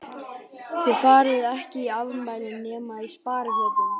Þið farið ekki í afmæli nema í sparifötunum.